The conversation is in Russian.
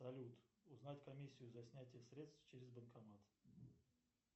салют узнать комиссию за снятие средств через банкомат